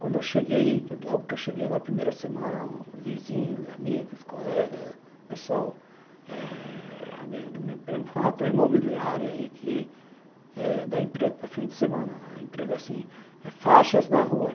Quando eu cheguei, logo que eu cheguei, na primeira semana, vizinhos, amigos, colegas, pessoal eh, amigo do meu primo falaram, tem uma imobiliária aí que dá emprego para fim de semana, emprego assim, faixas na rua.